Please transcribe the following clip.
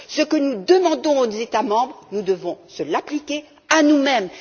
Ce que nous demandons aux États membres, nous devons nous l'appliquer à nous mêmes.